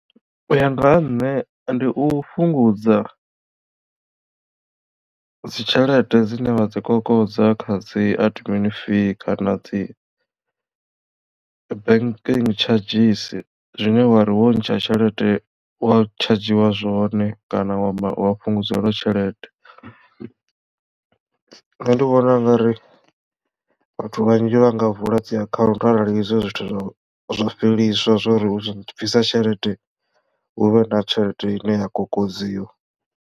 U ya nga ha nṋe ndi u fhungudza dzitshelede dzine vha dzi kokodza kha dzi admin fee kana dzi banking tshadzhisi zwine wari wo ntsha tshelede wa tshadzhiwa zwone kana wa wa fhungudzelwa tshelede. Nṋe ndi vhona u nga ri vhathu vhanzhi vha nga vula dzi akhaunthu arali izwo zwithu zwo zwa fheliswa zwori utshi bvisa tshelede huvhe na tshelede ine ya kokodziwa.